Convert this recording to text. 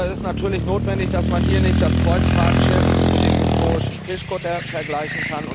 Es ist aber natürlich notwendig, dass man hier nicht das Kreuzfahrtschiff mit dem historischen Fischkutter vergleicht.